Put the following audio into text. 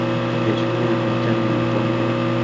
eshunye olnjani to ndupa